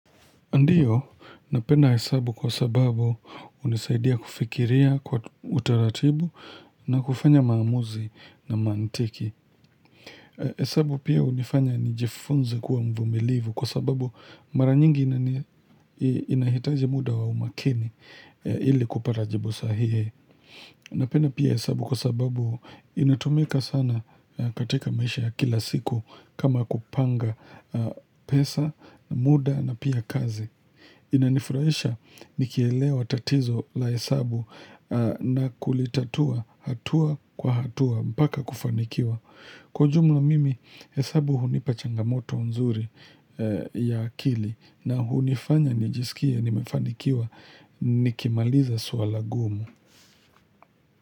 Ndiyo, napenda hesabu kwa sababu unisaidia kufikiria kwa utaratibu na kufanya maamuzi na mantiki. Hesabu pia hunifanya nijifunze kuwa mvumilivu kwa sababu mara nyingi inahitaji muda wa umakini ili kupatajibu sahihi. Napenda pia hesabu kwa sababu inatumika sana katika maisha kila siku kama kupanga pesa, muda na pia kazi. Inanifurahisha nikielewa tatizo la hesabu na kulitatua hatua kwa hatua mpaka kufanikiwa Kwa ujumla mimi hesabu hunipa changamoto nzuri ya akili na hunifanya nijisikie nimefanikiwa nikimaliza swala gumu.